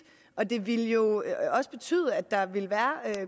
og det ville jo også betyde at der ville være